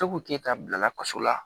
Se k'u tɛ taa bila kaso la